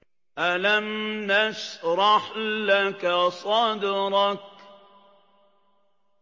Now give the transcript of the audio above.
أَلَمْ نَشْرَحْ لَكَ صَدْرَكَ